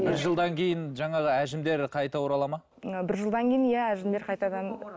бір жылдан кейін жаңағы әжімдер қайта оралады ма ы бір жылдан кейін иә әжімдер қайтадан